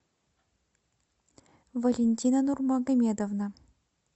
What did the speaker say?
валентина нурмагомедовна